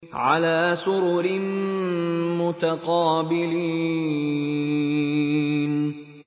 عَلَىٰ سُرُرٍ مُّتَقَابِلِينَ